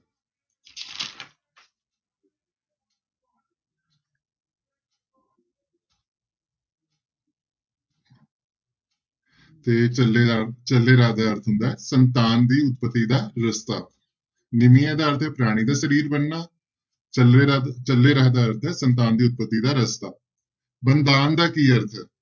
ਤੇ ਚੱਲੇ ਰਾਹ ਚੱਲੇ ਰਾਹ ਦਾ ਅਰਥ ਹੁੰਦਾ ਹੈ ਸੰਤਾਨ ਦੀ ਉਤਪਤੀ ਦਾ ਰਸਤਾ ਨਿਮੀਏ ਦਾ ਅਰਥ ਹੈ ਪ੍ਰਾਣੀ ਦਾ ਸਰੀਰ ਬਣਨਾ, ਚੱਲੇ ਰਾਹ, ਚੱਲੇ ਰਾਹ ਦਾ ਅਰਥ ਹੈ ਸੰਤਾਨ ਦੀ ਉਤਪਤੀ ਦਾ ਰਸਤਾ, ਬੰਧਾਨ ਦਾ ਕੀ ਅਰਥ ਹੈ?